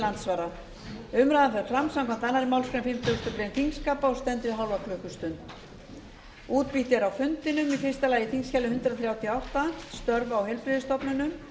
andsvara umræðan fer fram samkvæmt annarri málsgrein fimmtugustu grein þingskapa og stendur í hálfa klukkustund